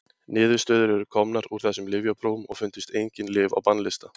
Niðurstöður eru komnar úr þessum lyfjaprófum og fundust engin lyf á bannlista.